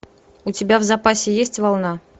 у тебя в запасе есть волна